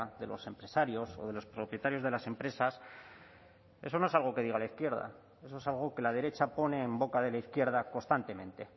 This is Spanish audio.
de los empresarios o de los propietarios de las empresas eso no es algo que diga la izquierda eso es algo que la derecha pone en boca de la izquierda constantemente